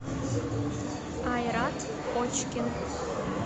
айрат очкин